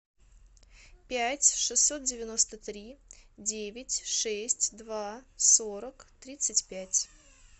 пять шестьсот девяносто три девять шесть два сорок тридцать пять